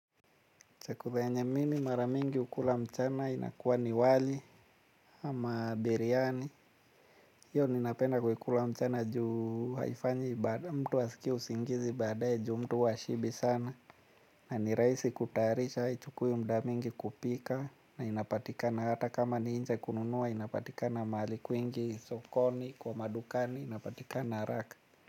Chakula yenye mimi mara mingi hukula mchana inakuwa ni wali ama biriyani. Hiyo ninapenda kuikula mchana juu haifanyi mtu asikie usingizi baadae juu mtu huwa hashibi sana. Na ni rahisi kutayarisha, haichukui muda mingi kupika na inapatikana hata kama ni inje kununua inapatika mahali kwingi sokoni kwa madukani inapatikana haraka.